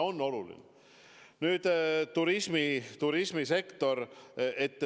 Nüüd, turismisektor.